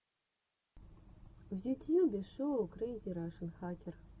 в ютьюбе шоу крэйзи рашен хакер